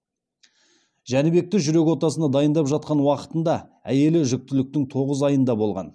жәнібекті жүрек отасына дайындап жатқан уақытында әйелі жүктіліктің тоғыз айында болған